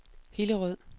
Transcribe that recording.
Hillerød